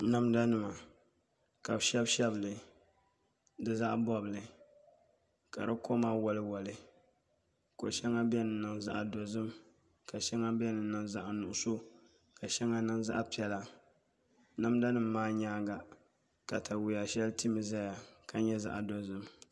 Namda nima ka bi shɛbi shɛbi li ka di koma woli woli shɛŋa biɛni zaɣ dozim ka shɛŋa biɛni n niŋ zaɣ dozim ka shɛŋa niŋ zaɣ piɛla namda nim maa katawiya shɛli timi ʒɛya ka nyɛ zaɣ dozim